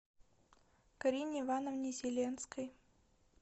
карине ивановне зеленской